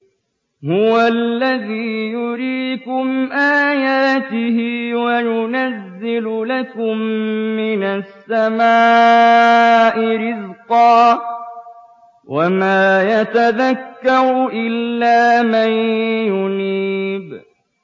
هُوَ الَّذِي يُرِيكُمْ آيَاتِهِ وَيُنَزِّلُ لَكُم مِّنَ السَّمَاءِ رِزْقًا ۚ وَمَا يَتَذَكَّرُ إِلَّا مَن يُنِيبُ